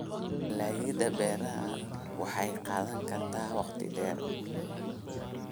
Dalagyada beerashada waxay qaadan kartaa waqti dheer.